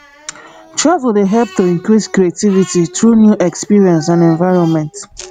travel dey help to increase creativity through new experience and environment